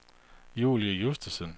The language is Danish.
Julie Justesen